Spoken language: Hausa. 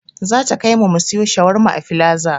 Zata kaimu mu siyo shawarma a filaza